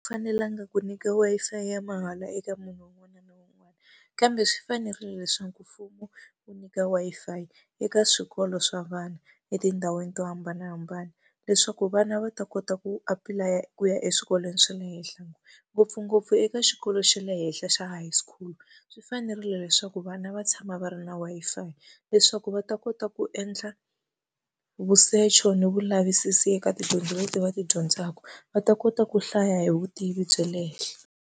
Fanelanga ku nyika Wi-Fi ya mahala eka munhu un'wana na un'wana. Kambe swi fanerile leswaku mfumo wu nyika Wi-Fi eka swikolo swa vana etindhawini to hambanahambana. Leswaku vana va ta kota ku apulaya ku ya eswikolweni swa le . Ngopfungopfu eka xikolo xa le henhla xa high school, swi fanerile leswaku vana va tshama va ri na Wi-Fi leswaku va ta kota ku endla vusecho ni vulavisisi eka tidyondzo leti va ti dyondzaka, va ta kota ku hlaya hi vutivi bya le henhla.